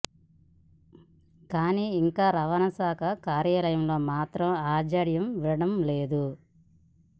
కానీ ఇంకా రవాణాశాఖ కార్యాలయంలో మాత్రం ఆ జాఢ్యం వీడటం లేదు